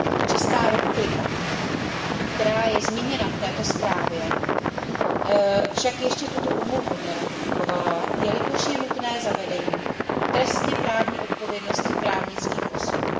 Česká republika, která je zmíněna v této zprávě, však ještě tuto úmluvu neratifikovala, jelikož je nutné zavedení trestněprávní odpovědnosti právnických osob.